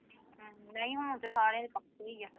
ਹਮ ਨਹੀਂ ਹੁਣ ਤੇ ਸਾਰਿਆਂ ਦੇ ਪੱਕੇ ਹੀ ਆ।